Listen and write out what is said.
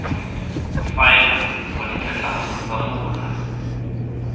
faela wa ditlhatlhamano tsa mola